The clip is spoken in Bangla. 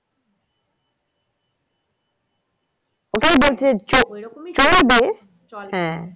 ওটাই বলছি যে চলবে